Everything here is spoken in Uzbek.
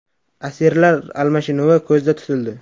Asirlar almashinuvi ko‘zda tutildi.